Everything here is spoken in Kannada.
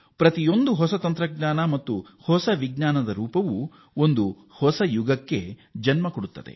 ಪ್ರತಿಯೊಂದು ಹೊಸ ತಂತ್ರಜ್ಞಾನ ಪ್ರತಿಯೊಂದು ಹೊಸ ಬಗೆಯ ವಿಜ್ಞಾನ ಹೊಸ ಮನ್ವಂತರಕ್ಕೆ ಕಾರಣವಾಗುತ್ತದೆ